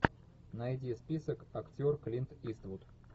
найди список актер клинт иствуд